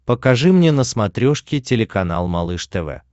покажи мне на смотрешке телеканал малыш тв